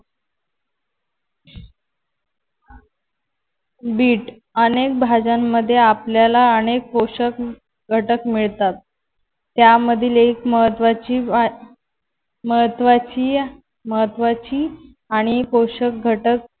Bit अनेक भाज्यांमध्ये आपल्याला अनेक पोषक घटक मिळतात. त्यामधील एक महत्वाची महत्वाची महत्वाची आणि पोषक घटक